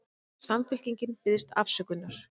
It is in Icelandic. Samfylkingin biðst afsökunar